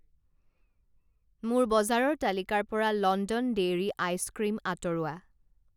মোৰ বজাৰৰ তালিকাৰ পৰা লণ্ডন ডেইৰী আইচক্ৰীম আঁতৰোৱা।